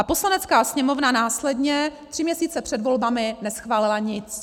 A Poslanecká sněmovna následně tři měsíce před volbami neschválila nic.